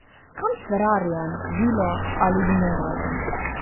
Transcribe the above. Kam s ferrarijem, vilo ali vinogradom?